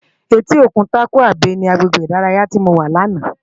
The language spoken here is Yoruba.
Éti ókún Tàkwá Bé ni àgbégbé idàráyá ti mó wá làná